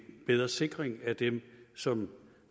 bedre sikring af dem som